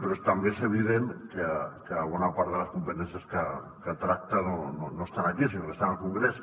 però també és evident que bona part de les competències que tracta no estan aquí sinó que estan al congrés